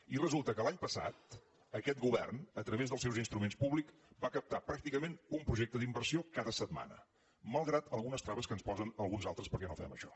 i resulta que l’any passat aquest govern a través dels seus instruments públics va captar pràcticament un projecte d’inversió cada setmana malgrat algunes traves que ens posen alguns altres perquè no fem això